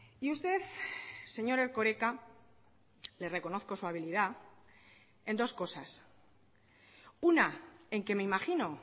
y usted señor erkoreka le reconozco su habilidad en dos cosas una en que me imagino